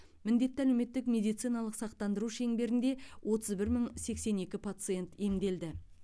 міндетті әлеуметтік медициналық сақтандыру шеңберінде отыз бір мың сексен екі пациент емделді